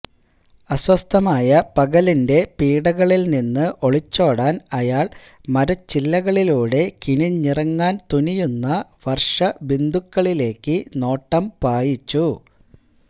അസ്വസ്ഥമായ പകലിന്റെ പീഡകളിൽ നിന്ന് ഒളിച്ചോടാൻ അയാൾ മരച്ചില്ലകളിലൂടെ കിനിഞ്ഞിറങ്ങാൻ തുനിയുന്ന വർഷബിന്ദുക്കളിലേക്ക് നോട്ടം പായിച്ചു